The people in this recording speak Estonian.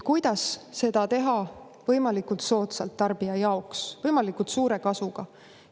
Kuidas seda teha tarbija jaoks võimalikult soodsalt, võimalikult suure kasuga?